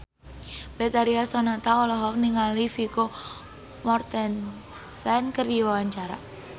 Betharia Sonata olohok ningali Vigo Mortensen keur diwawancara